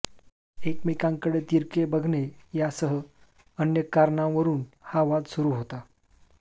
एकमेकांकडे तिरके बघणे यासह अन्य कारणांवरून हा वाद सुरू होता